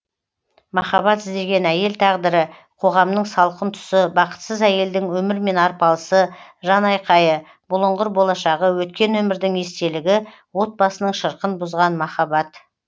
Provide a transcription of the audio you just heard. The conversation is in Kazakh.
махаббат іздеген әйел тағдыры қоғамның салқын тұсы бақытсыз әйелдің өмірмен арпалысы жанайқайы бұлыңғыр болашағы өткен өмірдің естелігі отбасының шырқын бұзған махаббат